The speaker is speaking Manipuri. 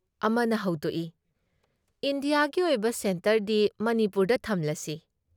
ꯑꯃꯅ ꯍꯧꯗꯣꯛꯏ "ꯏꯟꯗꯤꯌꯥꯒꯤ ꯑꯣꯏꯕ ꯁꯦꯟꯇꯔꯗꯤ ꯃꯅꯤꯄꯨꯔꯗ ꯊꯝꯂꯁꯤ ꯫"